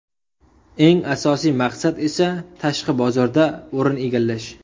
Eng asosiy maqsad esa tashqi bozorda o‘rin egallash.